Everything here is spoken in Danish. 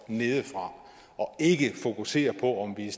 nedefra og ikke fokusere på om vi er